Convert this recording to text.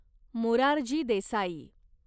Morarji Desai